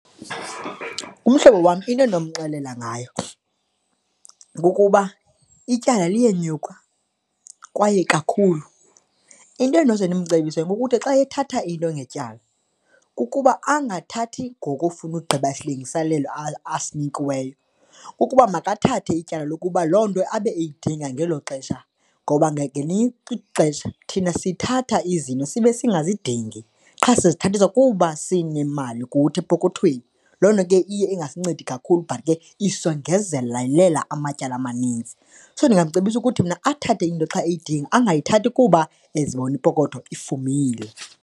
Umhlobo wam into endinomxelela ngayo kukuba ityala liyenyuka kwaye kakhulu. Into endinoze ndimcebise kukuthi xa ethatha into ngetyala kukuba angathathi ngokufuna ugqiba esilungiselelwe asinikiweyo, ukuba makathathe ityala lokuba loo nto abe eyidinga ngelo xesha ngoba ngelinye ixesha thina sithatha izinto sibe singazidingi qha sizithathiswa kuba sinemali kuthi epokothweni. Loo nto ke iye ingasinceda kakhulu but ke isongezelela amatyala amaninzi. So, ndingamcebisa ukuthi mna athathe into xa eyidinga, angayithathi kuba ezibona ipokotho ifumile.